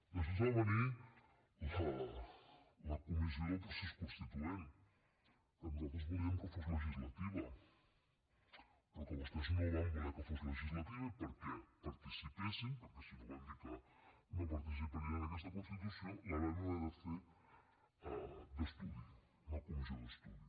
després va venir la comissió del procés constituent que nosaltres volíem que fos legislativa però que vostès no van voler que fos legislativa i perquè hi participessin perquè si no van dir que no participarien en aquesta constitució la vam haver de fer d’estudi una comissió d’estudi